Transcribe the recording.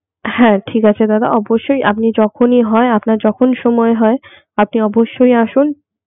হ্যা ঠিক আছে দাদা অবশ্যই আপনি যখন ই হয় আপনার যখন সময় হয় আপনি অবশ্যই আসুন